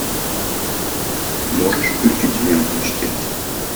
можешь включить ленту чтец